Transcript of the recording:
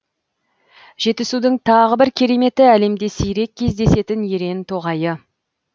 жетісудің тағы бір кереметі әлемде сирек кездесетін ерен тоғайы